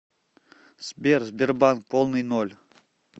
сбер сбербанк полный ноль